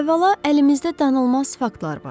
Əvvəla, əlimizdə danılmaz faktlar var.